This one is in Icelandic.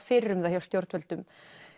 fyrir um það hjá stjórnvöldum